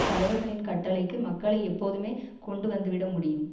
தலைவர்களின் கட்டளைக்கு மக்களை எப்போதுமே கொண்டு வந்து விட முடியும்